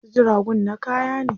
Wasu jiragun na kaya ne.